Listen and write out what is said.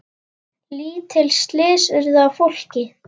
Lítil slys urðu á fólki.